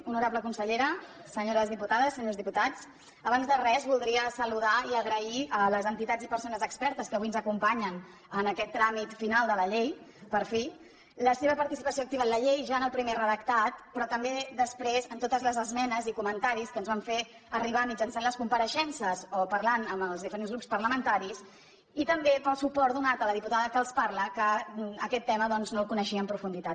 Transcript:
honorable consellera senyors diputats senyores diputades abans de res voldria saludar i agrair a les entitats i persones expertes que avui ens acompanyen en aquest tràmit final de la llei per fi la seva participació activa en la llei ja en el primer redactat però també després amb totes les esmenes i comentaris que ens van fer arribar mitjançant les compareixences o parlant amb els diferents grups parlamentaris i també pel suport donat a la diputada que els parla que aquest tema doncs no el coneixia en profunditat